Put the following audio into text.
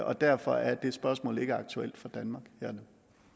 og derfor er det spørgsmål ikke aktuelt for danmark her